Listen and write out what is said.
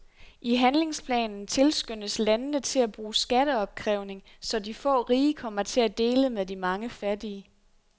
I handlingsplanen tilskyndes landene til at bruge skatteopkrævning, så de få rige kommer til at dele med de mange fattige.